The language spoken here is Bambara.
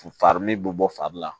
Fari ni bɛ bɔ fari la